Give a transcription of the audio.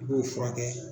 I b'o furakɛ